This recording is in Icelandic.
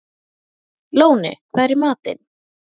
Lóni, hvað er í matinn?